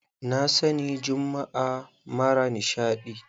Na sani jummu'a mara nishaɗi.